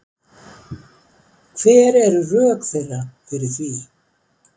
Hver eru rök þeirra fyrir því